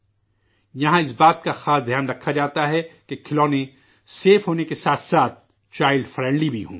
یہاں اس بات پر خصوصی توجہ دی جاتی ہے کہ کھلونے محفوظ ہونے کے ساتھ ساتھ بچوں کے لیے ماحول دوست بھی ہوں